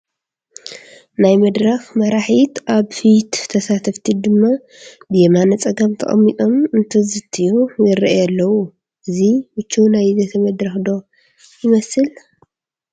ናይ መድረኽ መራሒት ኣብ ፊት ተሳተፍቲ ድማ ብየማነ ፀጋም ተቐሚጦም እንትዝትዩ ይርአዩ ኣለው፡፡ እዚ ምቹው ናይ ዘተ መድረኽ ዶ ይመስል?